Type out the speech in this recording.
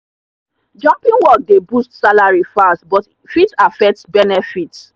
jumping work dey boost salary fast but fit affect benefits.